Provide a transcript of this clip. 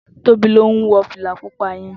Tobi ló n wò filà púpà yèn